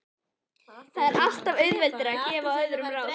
Það er alltaf auðveldara að gefa öðrum ráð.